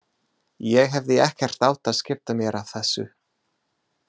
Ég hefði ekkert átt að skipta mér af þessu.